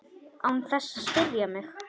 Án þess að spyrja mig?